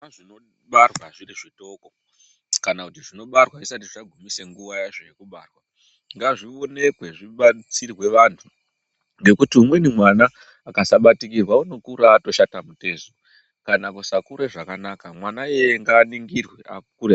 Zvana zvinobarwa zviri zvidoko kana kuti zvinobarwa zvisati zvagumise nguwa yazvo yekubarwa ngazvionekwe zvivandutsirwe vantu ngekuti umweni mwana akasabatikirwa unokura atoshata mutezo kana kusakure zvakanaka mwana iyeye ngaaningirwe akure.